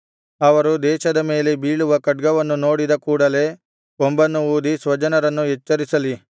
ಅವರು ದೇಶದ ಮೇಲೆ ಬೀಳುವ ಖಡ್ಗವನ್ನು ನೋಡಿದ ಕೂಡಲೆ ಕೊಂಬನ್ನು ಊದಿ ಸ್ವಜನರನ್ನು ಎಚ್ಚರಿಸಲಿ